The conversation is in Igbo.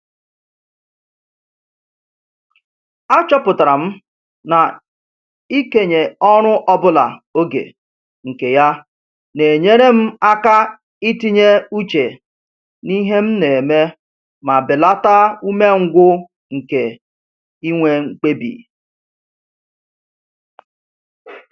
Achọpụtara m na-ikenye ọrụ ọbụla oge nke ya na-enyere m aka itinye uche n'ihe m na-eme ma belata umengwụ nke inwe mkpebi